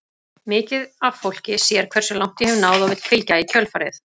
Mikið af fólki sér hversu langt ég hef náð og vill fylgja í kjölfarið.